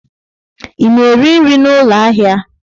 Ị na-eri nri n'ụlọ ahịa?